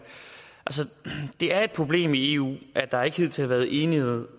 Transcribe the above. det er et problem i eu at der ikke hidtil har været enighed